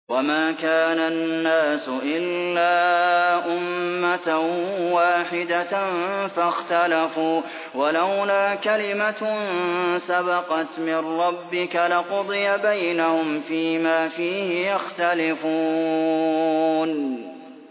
وَمَا كَانَ النَّاسُ إِلَّا أُمَّةً وَاحِدَةً فَاخْتَلَفُوا ۚ وَلَوْلَا كَلِمَةٌ سَبَقَتْ مِن رَّبِّكَ لَقُضِيَ بَيْنَهُمْ فِيمَا فِيهِ يَخْتَلِفُونَ